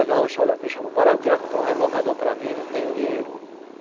me chamou, Pará, eu queria comprar um rebocador para mim, não tenho dinheiro.